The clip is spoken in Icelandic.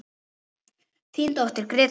Þín dóttir, Greta Lind.